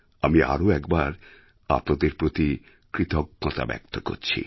আমি আরও একবার আপনাদের প্রতি কৃতজ্ঞতা ব্যক্ত করছি